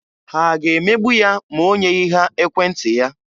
Ha ga-emegbu ya ma o nyeghị ha ekwentị ya?